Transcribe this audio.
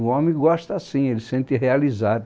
O homem gosta assim, ele se sente realizado.